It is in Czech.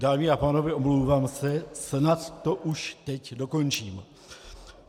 Dámy a pánové, omlouvám se, snad to už teď dokončím.